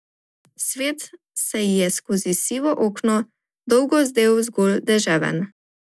Svet se ji je skozi sivo okno dolgo zdel zgolj deževen.